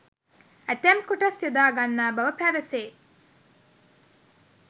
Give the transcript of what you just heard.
ඇතැම් කොටස් යොදා ගන්නා බව පැවසේ.